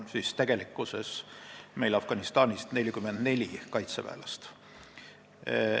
Praegu on meil Afganistanis 44 kaitseväelast.